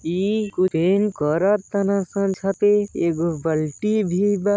इ कुल्हिन करताने सन छते एगो बल्टी भी बा।